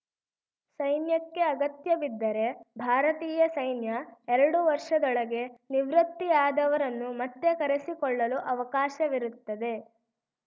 ಸೈನ್ಯಕ್ಕೆ ಅಗತ್ಯಬಿದ್ದರೆ ಭಾರತೀಯ ಸೈನ್ಯ ಎರಡು ವರ್ಷದೊಳಗೆ ನಿವೃತ್ತಿಯಾದವರನ್ನು ಮತ್ತೆ ಕರೆಸಿಕೊಳ್ಳಲು ಅವಕಾಶವಿರುತ್ತದೆ